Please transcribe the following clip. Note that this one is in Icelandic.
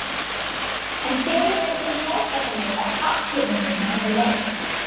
En hver hefur unnið fótboltaleik á pappírunum fyrir leik?